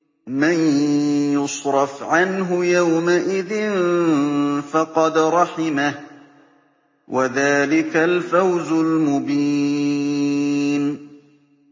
مَّن يُصْرَفْ عَنْهُ يَوْمَئِذٍ فَقَدْ رَحِمَهُ ۚ وَذَٰلِكَ الْفَوْزُ الْمُبِينُ